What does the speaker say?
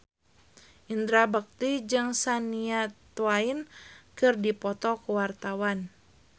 Indra Bekti jeung Shania Twain keur dipoto ku wartawan